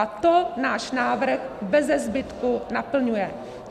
A to náš návrh beze zbytku naplňuje.